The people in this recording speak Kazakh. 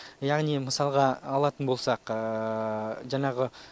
яғни мысалға алатын болсақ жаңағы